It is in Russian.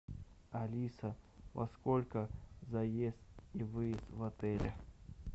алиса во сколько заезд и выезд в отеле